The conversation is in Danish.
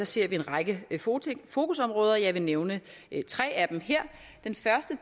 ser vi en række fokusområder og jeg vil nævne tre af dem her den første